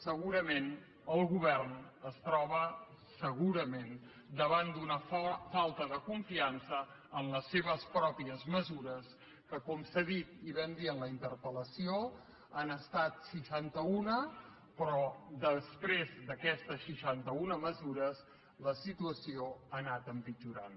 segurament el govern es troba segurament davant d’una falta de confiança en les seves pròpies mesures que com s’ha dit i ho vam dir en la interpel·lació han estat seixantauna però després d’aquestes seixantauna mesures la situació ha anat empitjorant